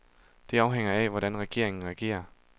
Det afhænger af, hvordan regeringen reagerer.